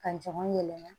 Ka jama yɛlɛma